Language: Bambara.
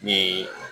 Ni